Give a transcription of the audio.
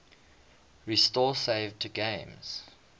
restore saved games